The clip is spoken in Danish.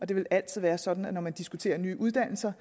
det vil altid være sådan at man når man diskuterer nye uddannelser